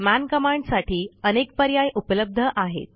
मन कमांडसाठी अनेक पर्याय उपलब्ध आहेत